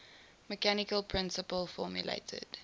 mechanical principle formulated